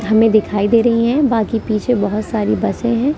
हमें दिखाई दे रही हैं बाकी पीछे बहुत सारी बसें हैं ।